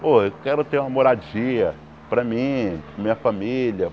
Pô, eu quero ter uma moradia, para mim, minha família.